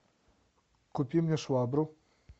купи мне швабру